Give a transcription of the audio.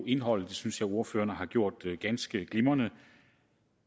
indholdet det synes jeg ordførerne har gjort ganske glimrende